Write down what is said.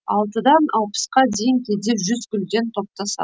алтыдан алпысқа дейін кейде жүз гүлден топтасады